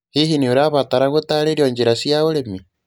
Hihi nĩ ũrabatara gũtaarĩrio njĩra cia ũrĩmi?